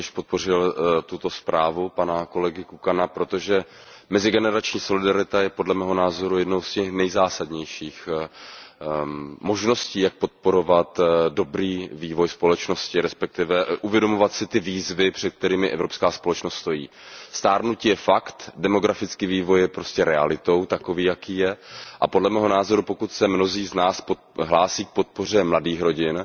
Pane předsedající, já jsem rovněž podpořil zprávu pana kolegy Kukana, protože mezigenerační solidarita je podle mého názoru jednou z těch nejzásadnějších možností, jak podporovat dobrý vývoj společnosti, respektive uvědomovat si ty výzvy, před kterými evropská společnost stojí. Stárnutí je fakt, demografický vývoj je prostě realitou, takový jaký je, a podle mého názoru, pokud se mnozí z nás hlásí k podpoře mladých rodin,